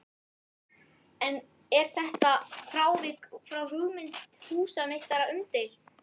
Er þetta frávik frá hugmynd húsameistara umdeilt.